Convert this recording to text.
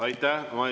Aitäh!